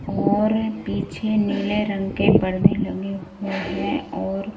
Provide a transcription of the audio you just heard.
और पीछे नीले रंग के पर्दे लगे हुए हैं और--